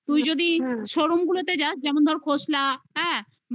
তুই যদি showroom গুলোতে যাস যেমন ধর খোসলা হ্যাঁ বা এই ওইগুলো তো offer থাকে জানিস